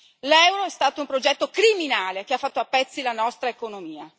L'euro è stato un progetto criminale che ha fatto a pezzi la nostra economia.